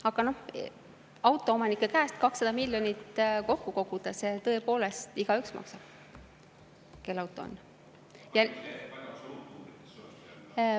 Aga autoomanike käest 200 miljonit kokku koguda, see tõepoolest, et igaüks maksab.